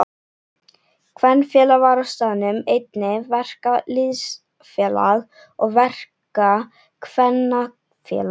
Kvenfélag var á staðnum, einnig verkalýðsfélag og verkakvennafélag.